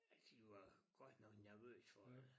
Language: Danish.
At de var godt nok nervøse for det